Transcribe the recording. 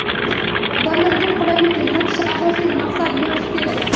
Odamlarga qulaylik yaratish asosiy maqsad bo‘lishi kerak.